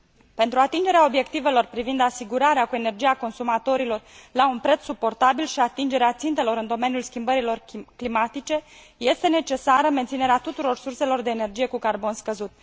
Pentru atingerea obiectivelor privind asigurarea cu energie a consumatorilor la un preț suportabil și atingerea țintelor în domeniul schimbărilor climatice, este necesară menținerea tuturor surselor de energie cu carbon scăzut.